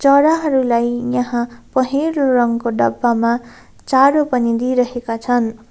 चराहरुलाई यहाँ पहेँलो रङको डब्बामा चारो पनि दिइरहेका छन्।